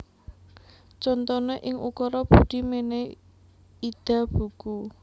Contoné ing ukara Budi mènèhi Ida buku